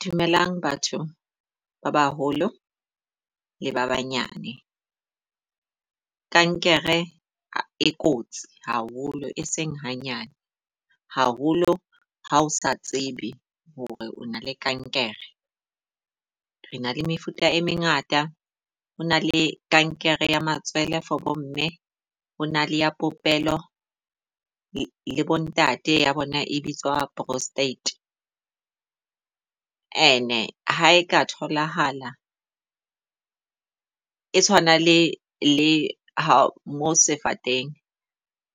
Dumelang batho ba baholo le ba banyane. Kankere e kotsi haholo, e seng hanyane. Haholo ha o sa tsebe hore o na le kankere, re na le mefuta e mengata. Ho na le kankere ya matswele for bo mme, ho na le ya popelo le bo ntate ya bona e bitswa prostate. And ha e ka tholahala e tshwana le le ha mo sefateng.